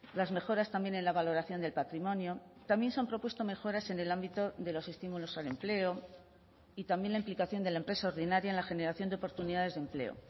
las mejoras también en la valoración del patrimonio también se han propuesto mejoras en el ámbito de los estímulos al empleo y también la implicación de la empresa ordinaria en la generación de oportunidades de empleo